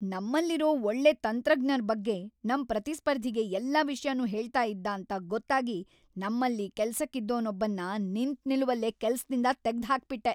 ನಮ್ಮಲ್ಲಿರೋ ಒಳ್ಳೆ ತಂತ್ರಜ್ಞರ್ ಬಗ್ಗೆ ನಮ್‌ ಪ್ರತಿಸ್ಪರ್ಧಿಗೆ ಎಲ್ಲ ವಿಷ್ಯನೂ ಹೇಳ್ತಾ ಇದ್ದಾಂತ ಗೊತ್ತಾಗಿ ನಮ್ಮಲ್ಲಿ ಕೆಲ್ಸಕ್ಕಿದ್ದೋನೊಬ್ಬನ್ನ ನಿಂತ್‌ನಿಲುವಲ್ಲೇ ಕೆಲ್ಸದಿಂದ ತೆಗ್ದ್‌ಹಾಕ್ಬಿಟ್ಟೆ.